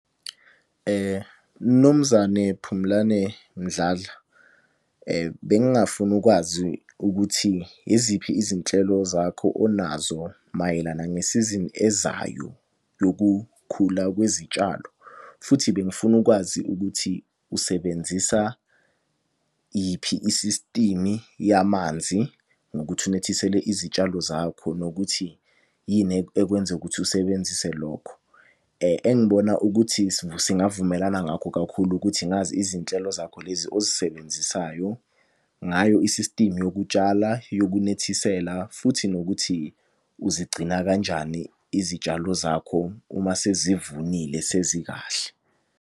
Mnumzane Phumlane Mdladla. Bengingafuna ukwazi ukuthi yiziphi izinhlelo zakho onazo mayelana ngesizini ezayo yokukhula kwezitshalo. Futhi bengifuna ukwazi ukuthi usebenzisa yiphi i-system yamanzi, ngokuthi unethisele izitshalo zakho, nokuthi yini ekwenze ukuthi usebenzise lokho. Engibona ukuthi singavumelana ngakho kakhulu ukuthi ngazi izinhlelo zakho lezi ozisebenzisayo, ngayo i-system yokutshala, yokunethisela. futhi nokuthi uzigcina kanjani izitshalo zakho uma sezivunile sezi kahle.